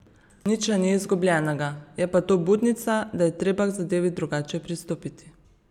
Nič še ni izgubljenega, je pa to budnica, da je treba k zadevi drugače pristopiti.